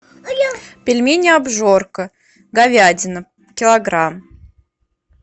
пельмени обжорка говядина килограмм